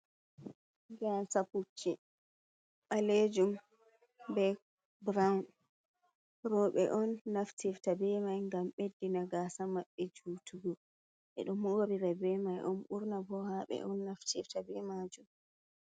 "Gasa" pucchi ɓalejum be burawun roɓe on naftifta be mai ngam ɓeɗɗina gasa maɓɓe jutugo ɓeɗo morira be mai on ɓurna bo haaɓe on naftirta be majum.